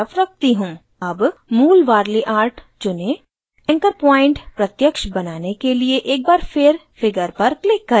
अब मूल warli art चुनें anchor point प्रत्यक्ष बनाने के लिए एक बार फिर figure पर click करें